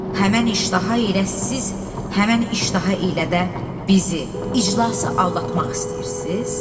Həmin iştaha ilə siz, həmin iştaha ilə də bizi, iclası aldatmaq istəyirsiz?